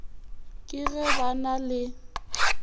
ke ge ba na le